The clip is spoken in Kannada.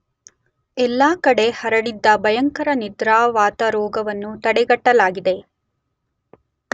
ಎಲ್ಲ ಕಡೆ ಹರಡಿದ್ದ ಭಯಂಕರ ನಿದ್ರಾವಾತರೋಗವನ್ನು ತಡೆಗಟ್ಟಲಾಗಿದೆ.